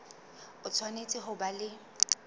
o tshwanetse ho ba le